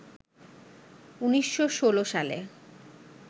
১৯১৬ সালে